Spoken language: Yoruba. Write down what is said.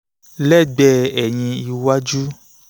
lẹ́gbẹ̀ẹ́ eyín iwájú